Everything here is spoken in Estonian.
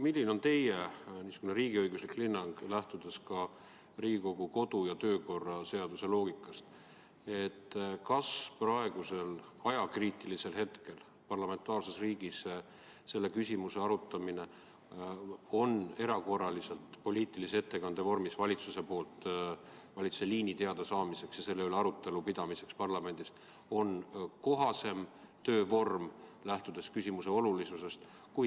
Milline on teie riigiõiguslik hinnang, lähtudes ka Riigikogu kodu- ja töökorra seaduse loogikast: kas praegusel ajakriitilisel hetkel parlamentaarses riigis selle küsimuse arutamine erakorraliselt poliitilise ettekande vormis on kohasem töövorm kui selle teema jooksev käsitlemine infotunnis?